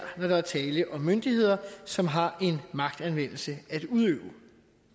når der er tale om myndigheder som har en magtanvendelse at udøve